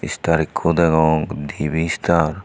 istar ekko deong dibi istar.